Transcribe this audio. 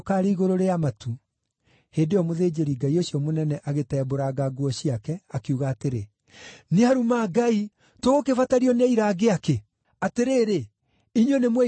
Hĩndĩ ĩyo mũthĩnjĩri-Ngai ũcio mũnene agĩtembũranga nguo ciake, akiuga atĩrĩ, “Nĩaruma Ngai! Tũgũkĩbatario nĩ aira angĩ aakĩ? Atĩrĩrĩ, inyuĩ nĩmweiguĩra akĩruma Ngai.